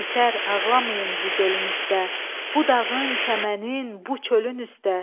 Yetər ağlamayın bu gölün üstdə, bu dağın, çəmənin, bu çölün üstdə.